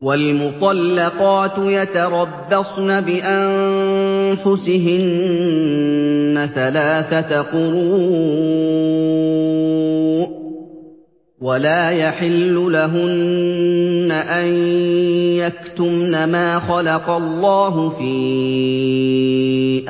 وَالْمُطَلَّقَاتُ يَتَرَبَّصْنَ بِأَنفُسِهِنَّ ثَلَاثَةَ قُرُوءٍ ۚ وَلَا يَحِلُّ لَهُنَّ أَن يَكْتُمْنَ مَا خَلَقَ اللَّهُ فِي